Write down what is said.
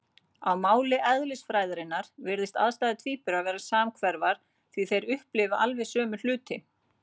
Á máli eðlisfræðinnar virðast aðstæður tvíburanna vera samhverfar, því þeir upplifa alveg sömu hluti.